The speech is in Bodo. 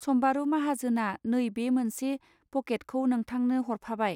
सम्बारू माहाजोना नै बे मोनसे पॅकेट खौ नोंथांनो हरफाबाय.